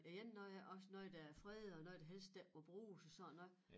Og jenne og også noget der er fredet og helst ikke må bruges og sådan noget